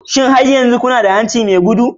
Shin har yanzu kuna da hanci mai gudu?